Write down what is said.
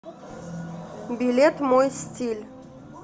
билет мой стиль